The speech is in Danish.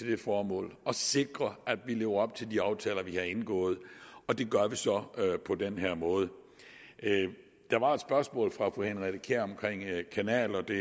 det formål at sikre at vi lever op til de aftaler vi har indgået og det gør vi så på den her måde der var et spørgsmål fra fru henriette kjær om kanaler det